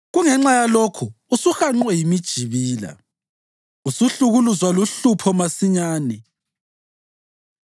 Kungenxa yalokho usuhanqwe yimijibila, usuhlukuluzwa luhlupho masinyane,